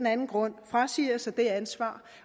anden grund frasiger sig det ansvar